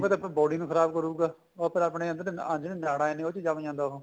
ਤਾਂ ਆਪਣੀ body ਨੂੰ ਖਰਾਬ ਕਰੁਗਾ ਉੱਪਰ ਆਪਣੇ ਆ ਜਿਹੜੀ ਨਾੜਾ ਨੇ ਉਹਦੇ ਚ ਜੰਮ ਜਾਂਦਾ ਉਹ